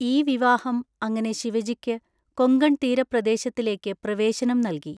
ഈ വിവാഹം അങ്ങനെ ശിവജിക്ക് കൊങ്കൺതീരപ്രദേശത്തിലേക്ക് പ്രവേശനം നൽകി.